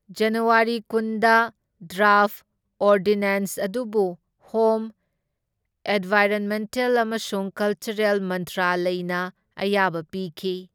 ꯖꯅꯋꯥꯔꯤ ꯀꯨꯟꯗ, draft ordinance ꯑꯗꯨꯕꯨ home, environmental ꯑꯃꯁꯨꯡ ꯀꯜꯆꯔꯦꯜ ꯃꯟꯇ꯭ꯔꯥꯂꯌꯅ ꯑꯌꯥꯕ ꯄꯤꯈꯤ꯫